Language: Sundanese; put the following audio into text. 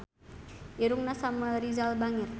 Irungna Samuel Rizal bangir